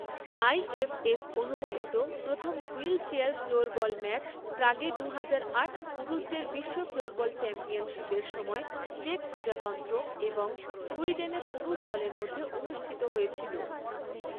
আইএফএফ অনুমোদিত প্রথম wheelchair floorball match প্রাগে দুহাজার আট পুরুষদের বিশ্ব ফ্লোরবল চ্যাম্পিয়নশিপের সময় চেক প্রজাতন্ত্র এবং সুইডেনের পুরুষ দলের মধ্যে অনুষ্ঠিত হয়েছিল।